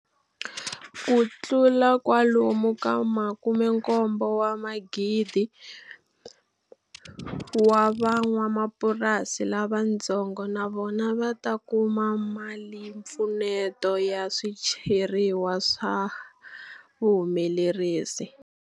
Kutlula kwalomu ka 74,000 wa van'wamapurasi lavatsongo na vona va ta kuma malimpfuneto ya swicheriwa swa vuhumelerisi.